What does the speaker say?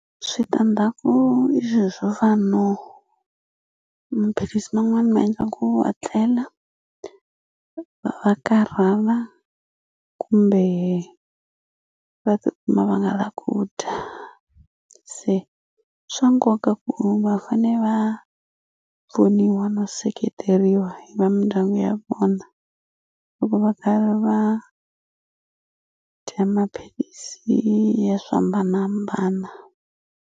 Switandzhaku i swilo swo fana no maphilisi man'wani ma endla ku wa tlela va karhala kumbe va tikuma va nga lavi ku dya se swa nkoka ku va fane va pfuniwa no seketeriwa hi va mindyangu ya vona loko va karhi va dya maphilisi ya swo hambanahambana.